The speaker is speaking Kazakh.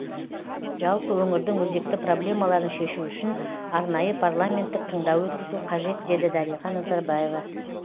жалпы өңірдің өзекті проблемаларын шешу үшін арнайы парламенттік тыңдау өткізу қажет деді дариға назарбаева